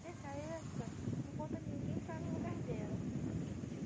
Nessa época, não encontrou ninguém para ficar no lugar dela.